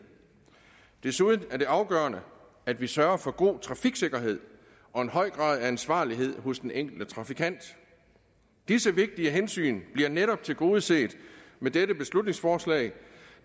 desuden er det afgørende at vi sørger for god trafiksikkerhed og en høj grad af ansvarlighed hos den enkelte trafikant disse vigtige hensyn bliver netop tilgodeset med dette beslutningsforslag